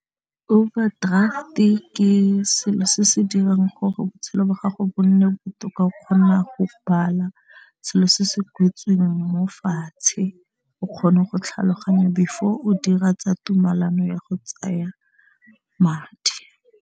Overdraft-e ke selo se se dirang gore botshelo jwa gago bo nne botoka o kgona go bala selo se se kwetsweng mo fatshe o kgone go tlhaloganya before o dira tsa tumalano ya go tsaya madi.